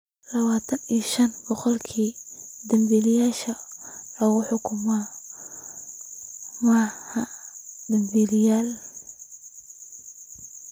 25 boqolkiiba danbiilayaasha la xukumay maaha dambiilayaal.